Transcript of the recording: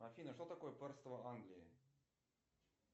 афина что такое пэрство англии